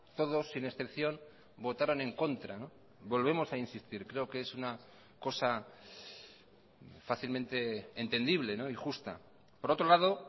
todos sin excepción votaron en contra volvemos a insistir creo que es una cosa fácilmente entendible y justa por otro lado